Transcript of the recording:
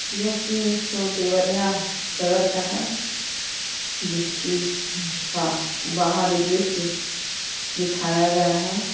यह सीन तो देवरिया शहर का है। जिसकी का बाहरी दृश्य दिखाया गया है।